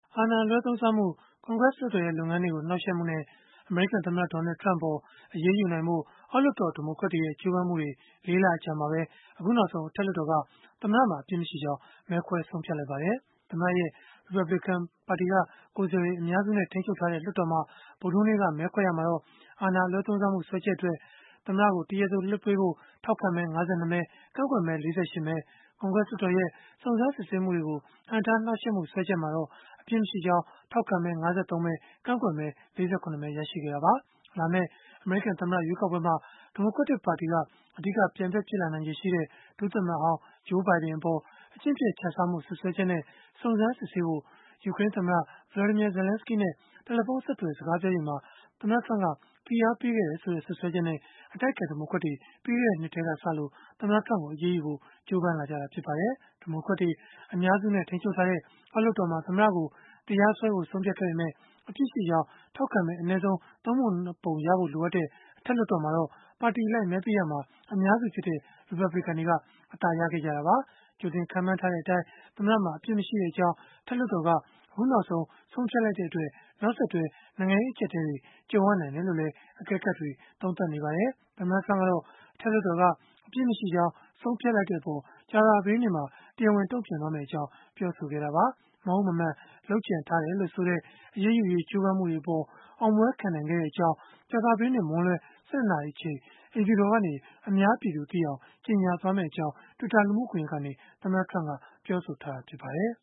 အာဏာအလွဲသုံးစားမှု၊ ကွန်ဂရက်လွှတ်တော်ရဲ့ လုပ်ငန်းတွေကို နှောက်ယှက်မှုနဲ့ အမေရိကန်သမ္မတ Donald Trump အပေါ် အရေးယူနိုင်ဖို့ အောက်လွှတ်တော် ဒီမိုကရက်တွေရဲ့ ကြိုးပမ်းမှုတွေ ၄ လအကြာမှာပဲ အခုနောက်ဆုံး အထက်လွှတ်တော်က သမ္မတမှာ အပြစ်မရှိကြောင်း မဲခွဲဆုံးဖြတ်လိုက်ပါတယ်။ သမ္မတရဲ့ ရီပတ်ဘလစ်ကန်ပါတီ ကိုယ်စားလှယ်တွေ အများစုနဲ့ ထိန်းချုပ်ထားတဲ့ လွှတ်တော်မှာ ဗုဒ္ဓဟူးနေ့က မဲခွဲရာမှာ အာဏာအလွဲသုံးစားမှု စွဲချက်အတွက် မဲခွဲရာမှာတော့ သမ္မတကို တရားသေလွှတ်ပေးဖို့ ထောက်ခံမဲ ၅၂ မဲ၊ ကန့်ကွက်မဲ ၄၈ မဲ၊ ကွန်ဂရက်လွှတ်တော်ရဲ့ စုံစမ်းစစ်ဆေးမှုတွေကို ဟန့်တားနှောက်ယှက်မှု စွဲချက်မှာလည်း အပြစ်မရှိကြောင်း ထောက်ခံမဲ ၅၃ မဲ ကန့်ကွက်မဲ ၄၇ မဲ ရရှိခဲ့တာပါ။ လာမယ့် အမေရိကန်သမ္မတ ရွေးကောက်ပွဲမှာ ဒီမိုကရက်ပါတီက အဓိကပြိုင်ဘက် ဖြစ်လာနိုင်တဲ့ ဒုသမ္မတဟောင်း Joe Biden အပေါ် အကျင့်ပျက်ခြစားမှု စွပ်စွဲချက်နဲ့ စုံစမ်းစစ်ဆေးဖို့ ယူကရိန်းသမ္မတ Volodymyr Zelenskiy နဲ့ တယ်လီဖုန်းဆက်သွယ် စကားပြောချိန်မှာ ဖိအားပေးခဲ့တယ်ဆိုတဲ့ စွပ်စွဲချက်နဲ့ အတိုက်အခံ ဒီမိုကရက်တွေ ပြီးခဲ့တဲ့နှစ်ထဲကစပြီး သမ္မတ Trump ကိုအရေးယူဖို့ ကြိုးပမ်းခဲ့ကြတာ ဖြစ်ပါတယ်။ ဒီမိုကရက်တွေ အများစုနဲ့ ထိန်းချုပ်ထားတဲ့ အောက်လွှတ်တော်မှာ သမ္မတကို တရားစွဲဖို့ ဆုံးဖြတ်ခဲ့ပေမဲ့ အပြစ်ရှိကြောင်း ထောက်ခံမဲ အနည်းဆုံး ၃ ပုံ ၂ ပုံရဖို့ လိုအပ်တဲ့ အထက် လွှတ်တော်မှာတော့ ပါတီအလိုက်မဲပေးရာမှာ အများစုဖြစ်တဲ့ ရီပတ်ဘလစ်ကန်တွေက အသာရခဲ့ကြတာပါ။ ကြိုတင်ခန့်မှန်းထားတဲ့အတိုင်း သမ္မတမှာ အပြစ်မရှိကြောင်း အထက်လွှတ်တော်က အခုနောက်ဆုံး ဆုံးဖြတ်လိုက်တဲ့အတွက် နောက်ဆက်တွဲ နိုင်ငံရေးအကျပ်အတည်းတွေ ကြုံရနိုင်တယ်လို့လည်း အကဲခတ်တွေက သုံးသပ်နေကြပါတယ်။ သမ္မတ Trump ကတော့ အထက်လွှတ်တော်က အပြစ်မရှိကြောင်း ဆုံးဖြတ်လိုက်တဲ့အပေါ် ကြာသပတေးနေ့မှာ တရားဝင် တုံ့ပြန်မယ့်အကြောင်း ပြောဆိုခဲ့တာပါ။ မဟုတ်မမှန် လုပ်ကြံထားတယ်လို့ဆိုတဲ့ အရေးယူရေး ကြိုးပမ်းမှုတွေအပေါ် အောင်ပွဲခံနိုင်ခဲ့တဲ့အကြောင်း ကြာသပတေးနေ့ မွန်းလွဲ ၁၂ နာရီအချိန် အိမ်ဖြူတော်ကနေ အများပြည်သူသိအောင် ကြေညာမယ့်အကြောင်း Twitter လူမှုကွန်ရက်ကနေ သမ္မတက ပြောဆိုထားပါတယ်။